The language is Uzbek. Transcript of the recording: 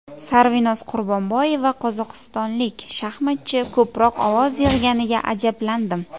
Sarvinoz Qurbonboyeva: Qozog‘istonlik shaxmatchi ko‘proq ovoz yig‘ganiga ajablandim.